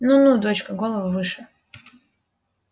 ну ну дочка голову выше